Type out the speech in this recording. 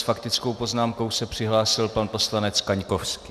S faktickou poznámkou se přihlásil pan poslanec Kaňkovský.